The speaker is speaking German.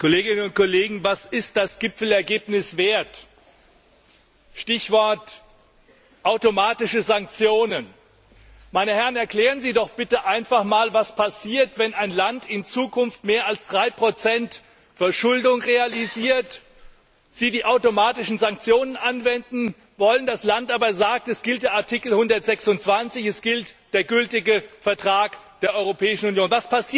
Herr Präsident, Kolleginnen und Kollegen! Was ist das Gipfelergebnis wert? Stichwort automatische Sanktionen Meine Herren, erklären Sie doch bitte einfach mal, was passiert, wenn ein Land in Zukunft mehr als 3 Verschuldung realisiert, wenn Sie die automatischen Sanktionen anwenden wollen, das Land aber sagt, es gilt Artikel 126, es gilt der gültige Vertrag der Europäischen Union.